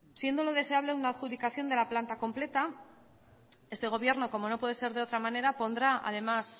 siendo lo deseable una adjudicación de la planta completa este gobierno como no puede ser de otra manera pondrá además